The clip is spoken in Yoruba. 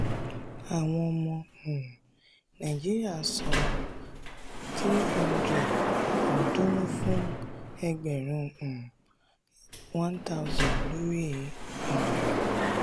àwọn ọmọ um nàìjíríà máa san n three hundred ọ̀ọ́dúnrún fún ẹgbẹ̀rún um n one thousand lórí ìrìnnà.